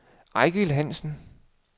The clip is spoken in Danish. Eigil Hansen